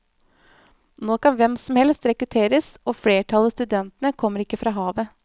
Nå kan hvem som helst rekrutteres, og flertallet av studentene kommer ikke fra havet.